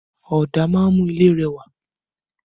Ọ̀dà máa ń mú ilé rẹwà